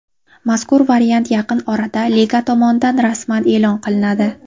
Mazkur variant yaqin orada liga tomonidan rasman e’lon qilinadi.